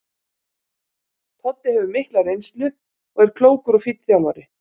Toddi hefur mikla reynslu og er klókur og fínn þjálfari.